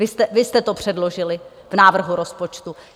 Vy jste to předložili v návrhu rozpočtu.